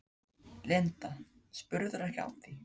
Linda: Spurðirðu ekki af því?